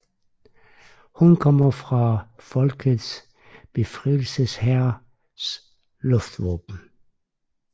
Hun kommer fra Folkets Befrielseshærs luftvåben